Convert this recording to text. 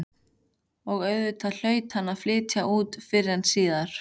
Og auðvitað hlaut hann að flytja út fyrr eða síðar.